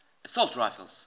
assault rifles